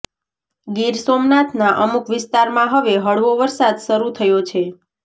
ગીર સોમનાથના અમુક વિસ્તારમાં હવે હળવો વરસાદ શરૂ થયો છે